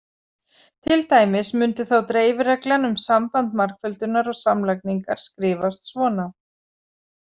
Til dæmis mundi þá dreifireglan um samband margföldunar og samlagningar skrifast svona